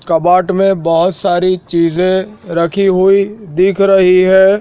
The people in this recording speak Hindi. कबाड में बहोत सारी चीजे रखी हुई दिख रही है।